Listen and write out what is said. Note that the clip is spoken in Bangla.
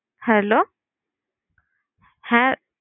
Hello, হ্যাঁ